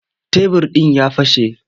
Tebir ɗin ya fashe.